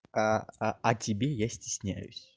а а о тебе я стесняюсь